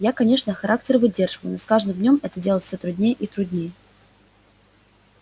я конечно характер выдерживаю но с каждым днём это делать всё труднее и труднее